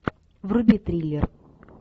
вруби триллер